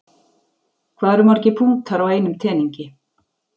Hvað eru margir punktar á einum teningi?